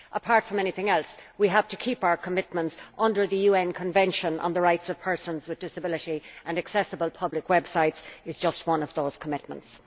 Apart from anything else we have to honour our commitments under the UN Convention on the Rights of Persons with Disabilities, and accessible public websites is just one of those commitments.